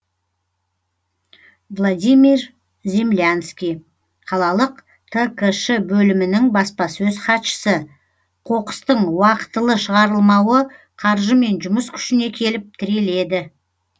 владимир землянский қалалық ткш бөлімінің баспасөз хатшысы қоқыстың уақытылы шығарылмауы қаржы мен жұмыс күшіне келіп тіреледі